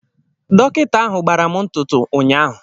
Dọkịta ahụ gbara m ntụtụ ụnyaahụ.